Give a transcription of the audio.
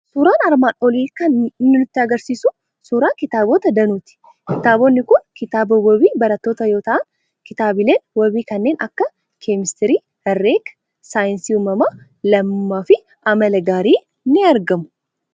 Suuraan armaan olii kan inni nutti argisiisu suuraa kitaabota danuuti. Kitaabonni kun kitaaba wabii barattootaa yoo ta'an, kitaabileen wabii kanneen akka keemistirii, herregaa, saayinsii uumamaa, lammummaa fi amala gaarii ni argamu.